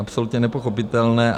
Absolutně nepochopitelné.